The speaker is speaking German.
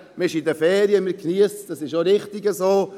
Man ist in den Ferien und geniesst es, das ist auch richtig so.